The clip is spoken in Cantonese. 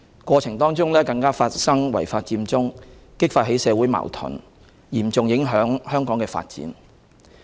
過程更發生違法佔中事件，激發起社會矛盾，嚴重影響香港的發展。